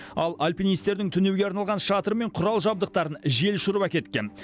ал альпинистердің түнеуге арналған шатыры мен құрал жабдықтарын жел ұшырып әкеткен